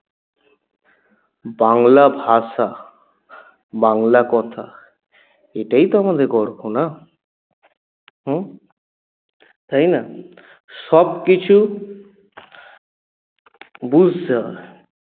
বাংলা ভাষা বাংলা কথা এটাই তো আমাদের গর্ব না? উম তাই না? সবকিছু বুঝতে হবে